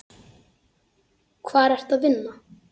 Hvar ertu að vinna?